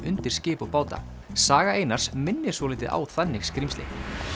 undir skip og báta saga Einars minnir svolítið á þannig skrímsli